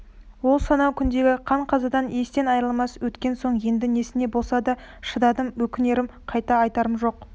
ол сонау күндегі қан-қазадан естен айрылмай өткен соң енді несіне болса да шыдадым өкінерім қайта айтарым жоқ